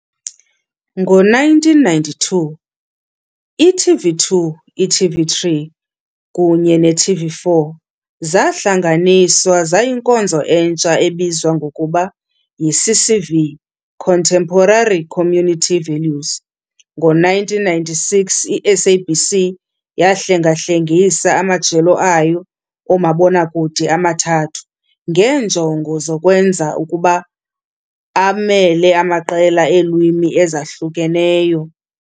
Ngo-1992, i-TV2, i-TV3 kunye ne-TV4 zahlanganiswa zayinkonzo entsha ebizwa ngokuba yiCCV, Contemporary Community Values. Ngo-1996, i-SABC yahlengahlengisa amajelo ayo omabonakude amathathu ngeenjongo zokwenza ukuba abamele amaqela eelwimi ezahlukeneyo.